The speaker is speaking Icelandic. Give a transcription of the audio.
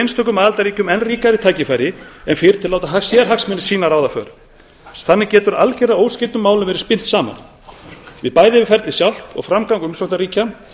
einstökum aðildarríkjum enn ríkari tækifæri en fyrr til að láta sérhagsmuni sína ráða för þannig getur algerlega óskyld mál verið spyrt saman við bæði ferlið sjálft og framgang umsóknarríkja